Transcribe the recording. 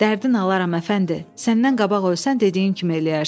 Dərdin alaram əfəndi, səndən qabaq ölsən dediyin kimi eləyərsən.